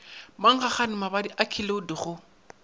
mankgagane mabadi a keliod go